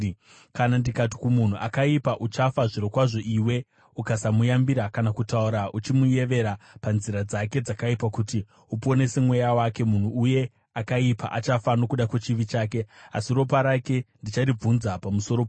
Kana ndikati kumunhu akaipa, ‘Uchafa zvirokwazvo,’ iwe ukasamuyambira kana kutaura uchimunyevera panzira dzake dzakaipa kuti uponese mweya wake, munhu uye akaipa achafa nokuda kwechivi chake, asi ropa rake ndicharibvunza pamusoro pako.